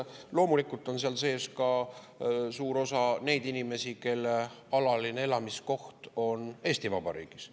Loomulikult on seal sees ka suur osa neid inimesi, kelle alaline elamiskoht on Eesti Vabariigis.